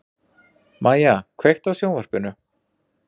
Mæja, kveiktu á sjónvarpinu.